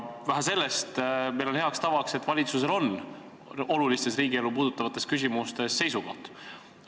Vähe sellest, meil on hea tava, et valitsusel on olulistes riigielu puudutavates küsimustes seisukoht.